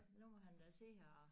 Nu må han da se og